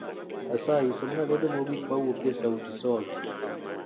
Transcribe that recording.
Asayi somna lendo mogik mawuok e sauti sol